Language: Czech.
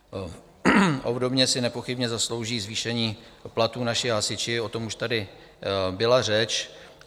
Obdobně si nepochybně zaslouží zvýšení platů naši hasiči, o tom už tady byla řeč.